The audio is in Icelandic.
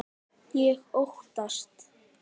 Ég óttast.